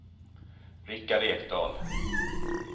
Rickard Ekdahl